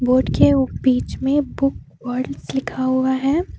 Would के उ बीच में बुक वर्ड्स लिखा हुआ है।